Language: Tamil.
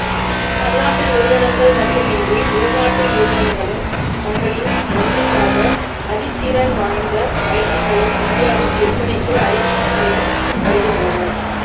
பன்னாட்டு நிறுவனங்கள் மட்டுமின்றி உள்நாட்டு நிறுவனங்களும் தங்களின் பங்காக அதிதிறன் வாய்ந்த பைக்குகளை இந்தியாவில் விற்பனைக்கு அறிமுகம் செய்து வருகின்றன